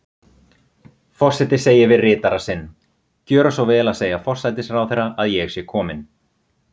Forseti segir við ritara sinn: Gjöra svo vel að segja forsætisráðherra að ég sé komin